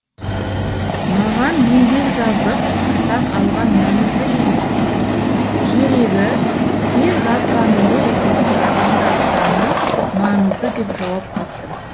маған еңбек жазып атақ алған маңызды емес керегі тек жазғанымды оқитын адамдар саны маңызды деп жауап қаттым